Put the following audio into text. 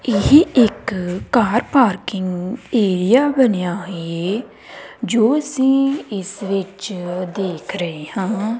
ਇਹ ਇੱਕ car parking area ਬਣਿਆ ਹੈ ਜੋ ਅਸੀ ਇਸ ਵਿੱਚ ਦੇਖ ਰਹੇ ਹਾਂ।